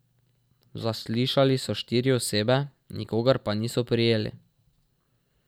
Zaslišali so štiri osebe, nikogar pa niso prijeli.